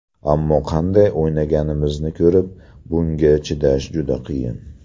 Ammo qanday o‘ynaganimizni ko‘rib, bunga chidash juda qiyin”.